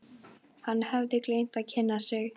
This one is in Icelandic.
Hann hafði gleymt að kynna sig.